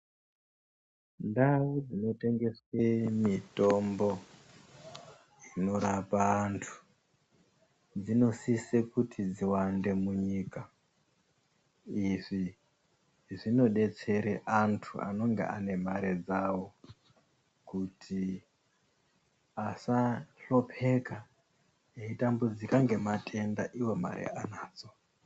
Ndau dzinotengeswe mitombo, inorapa antu, dzinosise kuti dziwande munyika. Izvi zvinodetsere antu anonge ane mare dzawo kuti asahlopeka, eitambudzika ngematenda iwo mare anadzo.